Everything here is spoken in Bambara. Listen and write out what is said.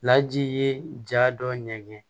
Laji ye ja dɔ ɲɛŋɛ ye